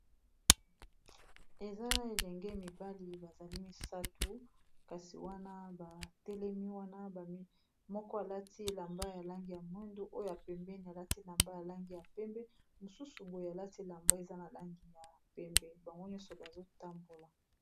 Eza elenge mibali bazali misato kasi wana batelemi wana moko alati elamba ya langi ya mwindo oyo pembeni alati elamba ya langi ya pembe mosusu boye alati elamba eza na langi ya pembe bango nyonso bazotambola.